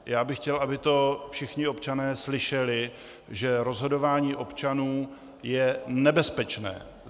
Já bych chtěl, aby to všichni občané slyšeli, že rozhodování občanů je nebezpečné.